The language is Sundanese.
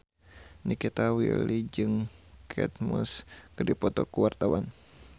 Nikita Willy jeung Kate Moss keur dipoto ku wartawan